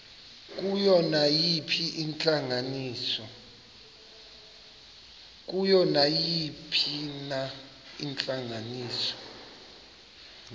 kuyo nayiphina intlanganiso